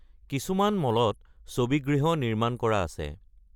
কিছুমান মলত ছবি গৃহ নিৰ্মাণ কৰা আছে।